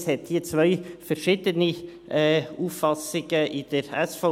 Es gibt hier zwei verschiedene Auffassungen in der SVP.